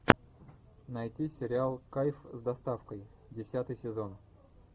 найти сериал кайф с доставкой десятый сезон